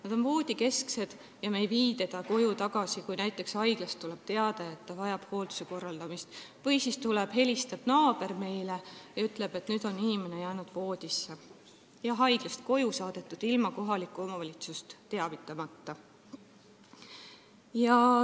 Ta on voodihaige ja me vii teda koju tagasi, kui näiteks haiglast tuleb teade, et ta vajab hoolduse korraldamist, või siis helistab meile naaber ja ütleb, et inimene on jäänud voodisse, ta on haiglast koju saadetud ilma kohalikku omavalitsust teavitamata.